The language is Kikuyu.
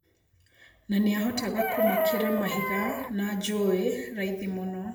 Na nĩahotaga kũmakĩra mahiga na njũĩ raithi mũno.